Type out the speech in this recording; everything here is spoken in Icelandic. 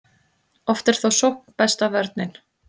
oft er þó sókn besta vörnin